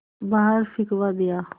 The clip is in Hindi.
बाहर फिंकवा दिया